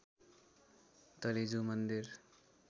तलेजु मन्दिर